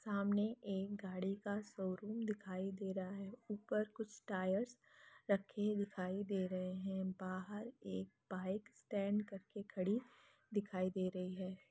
सामने एक गाड़ी का शो रूम दिखाई दे रहा है ऊपर कुछ टायर्स रखे दिखाई दे रहे है बाहर एक बाइक स्टेंड करके खड़ी दिखाई दे रही है।